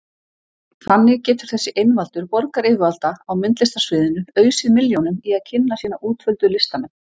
Þannig getur þessi einvaldur borgaryfirvalda á myndlistarsviðinu ausið milljónum í að kynna sína útvöldu listamenn.